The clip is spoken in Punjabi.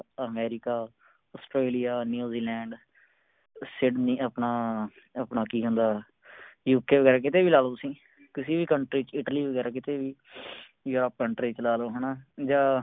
ਅਮੇਰਿਕਾ ਆਸਟ੍ਰੇਲੀਆ ਨਊਜ਼ੀਲੈਂਡ ਸਿਡਨੀ ਆਪਣਾ ਆਪਣਾ ਕਿ ਕਹਿੰਦਾ UK ਵਗੈਰਾ ਕੀਤੇ ਵੀ ਲਾਲੋ ਤੁਸੀਂ ਕਿਸੇ ਵੀ Country ਚ ਇਟਲੀ ਵਗੈਰਾ ਕੀਤੇ ਵੀ ਯਾ ਆਪ Country ਚ ਲਾ ਲੋ ਹੈ